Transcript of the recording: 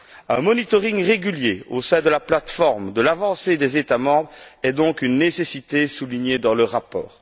Un monitoring régulier au sein de la plateforme de l'avancée des États membres est donc une nécessité soulignée dans le rapport.